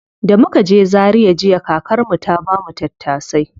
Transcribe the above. Da muka je zaria jiya, kakar mu ta bamu tattasai.